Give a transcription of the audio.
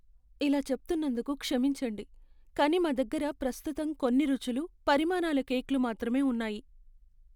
ఇలా చెప్తున్నందుకు క్షమించండి, కానీ మా దగ్గర ప్రస్తుతం కొన్ని రుచులు, పరిమాణాల కేక్లు మాత్రమే ఉన్నాయి.